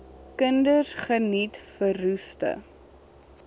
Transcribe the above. kinders geniet verroeste